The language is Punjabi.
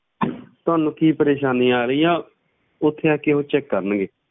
ਤੁਹਾਨੂੰ ਕੀ ਪਰੇਸਾਨੀ ਆ ਰਹੀ ਆ ਉੱਥੇ ਆ ਕੇ ਉਹ check ਕਰਨਗੇ।